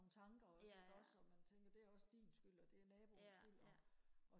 nogle tanker også ikke også og man tænker det er også din skyld og det er naboens skyld og